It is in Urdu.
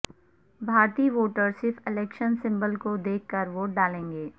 بھارتی ووٹر صرف الیکشن سنمبل کو دیکھ کر ووٹ ڈالیں گے